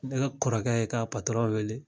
Ne ka kɔrɔkɛ ye ka wele